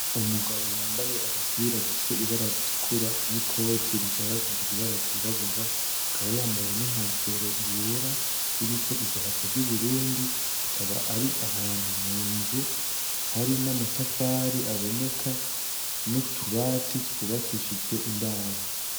Umugabo yambaye agapira gafise ibara ritukura n' ikoti rishaka kugira ibara ryirabura, akaba yambaye ninkofero yera iriko idarapo ry'uburundi akaba ari ahantu munzu hari n' amatafari aboneka n' utubati twubakishijwe imbaho.